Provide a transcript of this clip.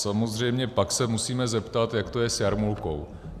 Samozřejmě pak se musíme zeptat, jak to je s jarmulkou.